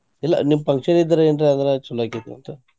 ಇಲ್ಲ ನಿಮ್ಮ function ಇದ್ರ ಏನ್ರ ಅಂದ್ರ ಚೊಲೋ ಆಕ್ಕಿತ್ತ ಅಂತ.